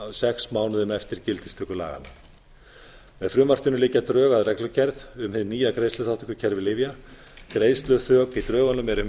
sex mánuðum ári gildistöku laganna með frumvarpinu liggja drög að reglugerð um hið nýja greiðsluþátttökukerfi lyfja greiðsluþak í lögunum eru